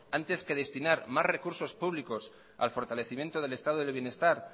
antes que destinar más recursos públicos al fortalecimiento del estado del bienestar